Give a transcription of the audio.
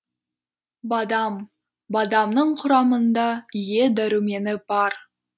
бадам бадамның құрамында е дәрумені бар